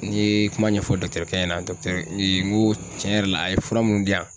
N'i ye kuma ɲɛfɔ ɲɛna n ko tiɲɛ yɛrɛ la a ye fura munnu di yan.